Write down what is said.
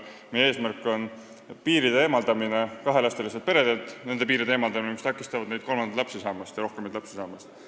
Meie eesmärk on kahelapseliste perede puhul eemaldada need piirid, mis takistavad neil kolmanda lapse ja rohkemate laste saamist.